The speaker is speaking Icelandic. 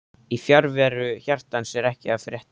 Í fjarveru hjartans er ekkert að frétta